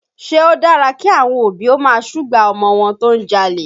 Ṣé ó dára kí àwọn òbí ó máa súgbà ọmọ wọn tó ń jalè?